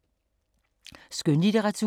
Skønlitteratur